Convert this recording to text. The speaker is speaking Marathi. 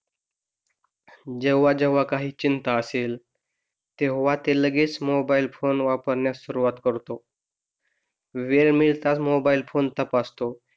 जेव्हा जेव्हा काही तेव्हा ते लगेच मोबाइल फोन वापरणे सुरुवात करतो वेळ मिळताच मोबाइल फोन तपासतो.